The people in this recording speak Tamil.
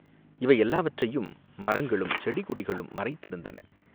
இவை எல்லாவற்றையும் மரங்களும் செடி கொடிகளும் மறைத்திருந்தன.